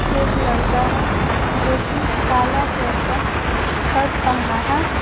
एक लड़का है जो कि काला कलर का शर्ट पहना है।